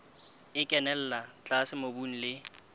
e kenella tlase mobung le